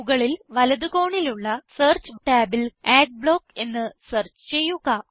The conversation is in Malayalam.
മുകളിൽ വലത് കോണിലുള്ള സെർച്ച് ടാബിൽ അഡ്ബ്ലോക്ക് എന്ന് സെർച്ച് ചെയ്യുക